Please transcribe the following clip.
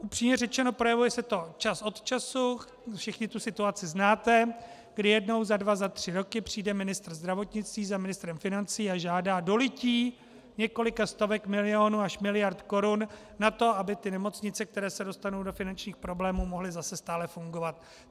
Upřímně řečeno, projevuje se to čas od času, všichni tu situaci znáte, kdy jednou za dva, za tři roky přijde ministr zdravotnictví za ministrem financí a žádá dolití několika stovek milionů až miliard korun na to, aby ty nemocnice, které se dostanou do finančních problémů, mohly zase stále fungovat.